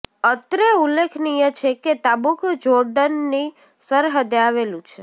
અત્રે ઉલ્લેખનિય છે કે તાબુક જોર્ડનની સરહદે આવેલું છે